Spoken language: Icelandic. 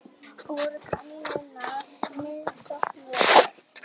Voru kanínurnar misnotaðar?